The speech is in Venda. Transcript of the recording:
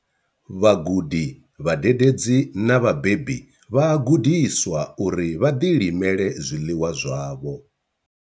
Vhagudi, vhadededzi na vhabebi vha a gudiswa uri vha ḓilimele zwiḽiwa zwavho.